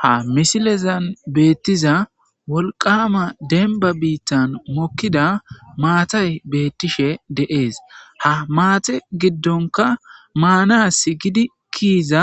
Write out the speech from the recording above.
ha misilezan beettiza wolqama denba biittan mokkida maatay beettishe de7ees ha maate giddonka maanas gidi kiiza